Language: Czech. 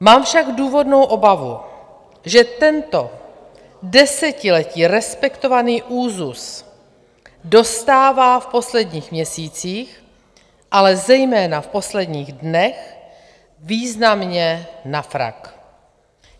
Mám však důvodnou obavu, že tento desetiletí respektovaný úzus dostává v posledních měsících, ale zejména v posledních dnech významně na frak.